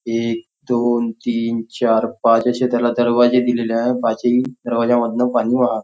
एक दोन तीन चार पाच अशे त्याला दरवाजे दिलेले आहे पाचही दरवाज्यामधनं पाणी वाहा--